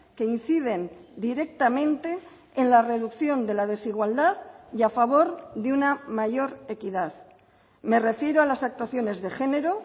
que inciden directamente en la reducción de la desigualdad y a favor de una mayor equidad me refiero a las actuaciones de género